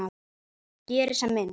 Geri sem minnst.